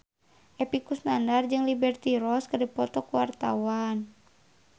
Epy Kusnandar jeung Liberty Ross keur dipoto ku wartawan